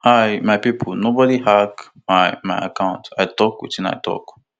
hey my pipo nobody hack my my account i tok wetin i tok